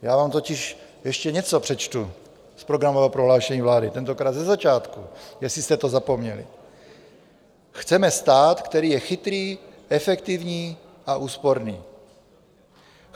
Já vám totiž ještě něco přečtu z programového prohlášení vlády, tentokrát ze začátku, jestli jste to zapomněli: "Chceme stát, který je chytrý, efektivní a úsporný.